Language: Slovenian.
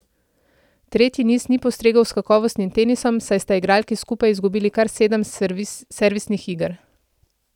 Tretji niz ni postregel s kakovostnim tenisom, saj sta igralki skupaj izgubili kar sedem servisnih iger.